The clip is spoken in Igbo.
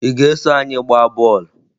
Ị ga-eso anyị gbaa bọọlụ?